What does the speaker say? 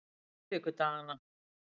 miðvikudaganna